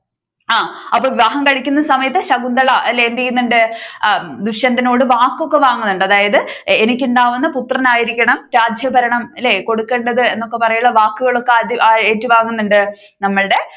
ആ അപ്പൊ വിവാഹം കഴിക്കുന്ന സമയത്ത് ശകുന്തള അല്ലേ എന്തു ചെയ്യുന്നുണ്ട് ദുഷ്യന്തനോട് വാക്കൊക്കെ വാങ്ങുന്നുണ്ട് അതായത് എനിക്കുണ്ടാകുന്ന പുത്രൻ ആയിരിക്കണം രാജ്യഭരണം ഇല്ലേ കൊടുക്കേണ്ടത് എന്നൊക്കെ വാക്കുകളൊക്കെ ഏറ്റുവാങ്ങുന്നുണ്ട്